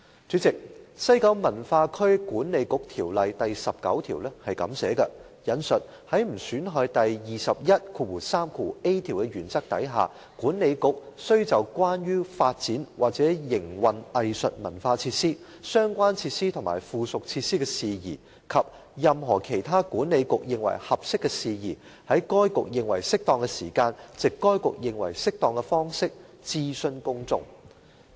主席，《西九文化區管理局條例》第19條訂明，"在不損害第 213a 條的原則下，管理局須就關於發展或營運藝術文化設施、相關設施及附屬設施的事宜，及任何其他管理局認為合適的事宜，在該局認為適當的時間，藉該局認為適當的方式，諮詢公眾"。